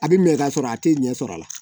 A bɛ minɛ ka sɔrɔ a tɛ ɲɛ sɔrɔ a la